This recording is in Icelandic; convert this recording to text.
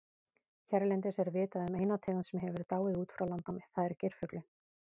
Hérlendis er vitað um eina tegund sem hefur dáið út frá landnámi, það er geirfuglinn.